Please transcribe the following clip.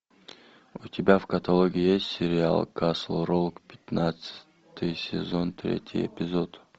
у тебя в каталоге есть сериал касл рок пятнадцатый сезон третий эпизод